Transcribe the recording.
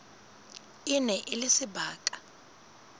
e ne e le sebaka